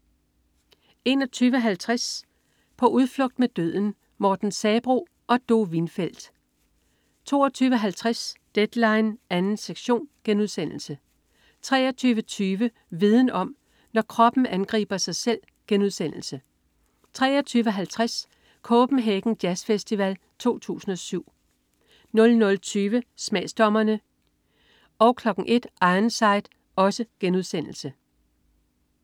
21.50 På udflugt med døden. Morten Sabroe og Do Windfeld 22.50 Deadline 2. sektion* 23.20 Viden om: Når kroppen angriber sig selv* 23.50 Copenhagen jazzfestival 2007 00.20 Smagsdommerne* 01.00 Ironside*